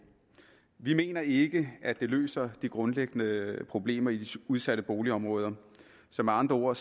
vi mener ikke at det løser de grundlæggende problemer i de udsatte boligområder så med andre